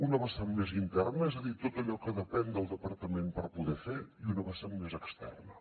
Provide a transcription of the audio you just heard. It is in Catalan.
una vessant més inter na és a dir tot allò que depèn del departament per poder fer i una vessant més externa